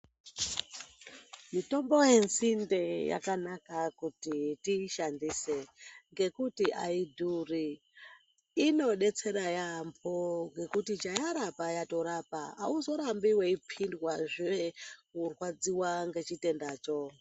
Mitombo yenzinde yakanaka kuti tiishandise ngekuti aidhuri inodetsera yaampo ngekuti chayarapa yatirapa auzorambi weipindwazve kurwadziwa ngechitendacho.